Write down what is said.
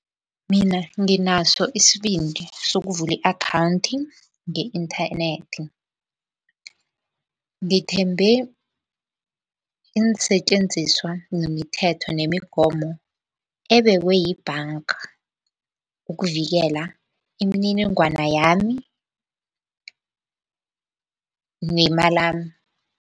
Mina nginaso isbindi sokuvula i-akhawunthi nge-inthanethi. Ngithembe iinsetjenziswa nemithetho nemigomo ebekwe yibhanga ukuvikela imininingwana yami nemalami.